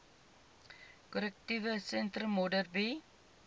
korrektiewe sentrum modderbee